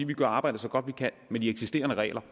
de kan arbejde så godt de kan med de eksisterende regler